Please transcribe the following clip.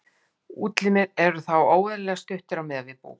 útlimir eru þá óeðlilega stuttir miðað við búk